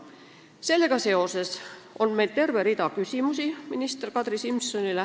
Sellega seoses on meil minister Kadri Simsonile terve rida küsimusi.